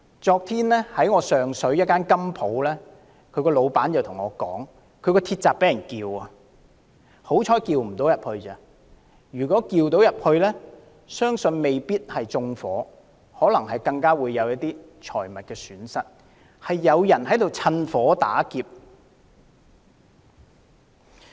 昨天，上水一間金鋪的老闆告訴我，他的店鋪鐵閘被撬，幸好沒受損，否則雖不致被縱火，也會蒙受財物損失，現時的確有人在趁火打劫。